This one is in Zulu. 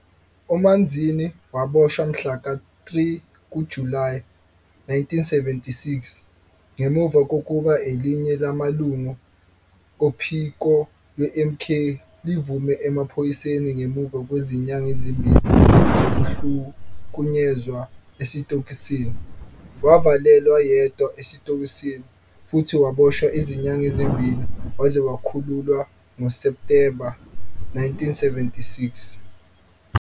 UManzini waboshwa mhlaka 3 kuJulayi 1976 ngemuva kokuba elinye lamalungu ophiko lweMK livume emaphoyiseni ngemuva kwezinyanga ezimbili zokuhlukunyezwa esitokisini. Wavalelwa yedwa esitokisini futhi waboshwa izinyanga ezimbili waze wakhululwa ngoSepthemba, 1976.